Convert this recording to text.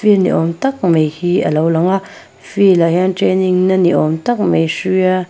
field ni awm tak mai hi a lo lang a field ah hian training na ni awm tak mai hruia --